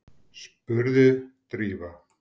spurði Drífa.